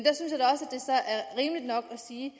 sige